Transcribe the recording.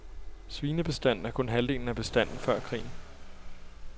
Svinebestanden er kun halvdelen af bestanden før krigen.